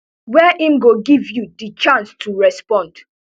wey im go give you di chance to respond